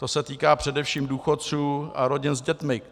To se týká především důchodců a rodin s dětmi.